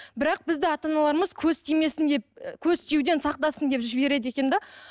бірақ бізді ата аналарымыз көз тимесін деп көз тиюден сақтасын деп жібереді екен де